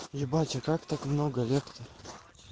ебать а как так много лет-то